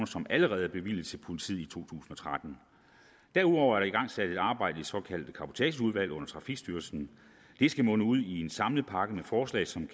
som allerede er bevilget til politiet i to tusind og tretten derudover er der igangsat et arbejde i det såkaldte cabotageudvalg under trafikstyrelsen det skal munde ud i en samlet pakke med forslag som